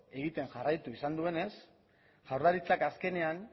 egiten jarraitu izan duenez jaurlaritzak azkenean